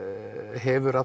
hefur